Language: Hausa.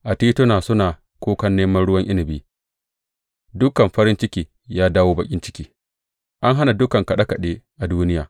A tituna suna kukan neman ruwan inabi; dukan farin ciki ya dawo baƙin ciki, an hana dukan kaɗe kaɗe a duniya.